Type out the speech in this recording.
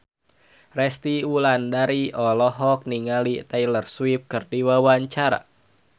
Resty Wulandari olohok ningali Taylor Swift keur diwawancara